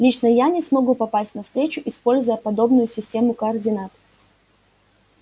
лично я не смогу попасть на встречу используя подобную систему координат